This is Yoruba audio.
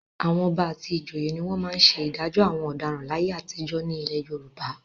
Àwọn Ọba àti ìjòyè mi wọ́n máa ń ṣe ìdájọ́ àwọn ọ̀daràn láyé àtijọ́ nílẹ̀ Yorùbá.